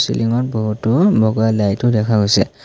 বিল্ডিঙত বহুতো বগা লাইটও দেখা গৈছে।